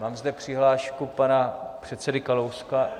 Mám zde přihlášku pana předseda Kalouska...